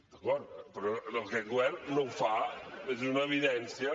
d’acord però aquest govern no ho fa és una evidència